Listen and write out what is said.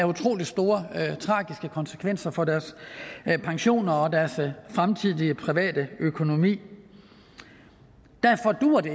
utrolig store tragiske konsekvenser for deres pensioner og deres fremtidige private økonomi derfor duer det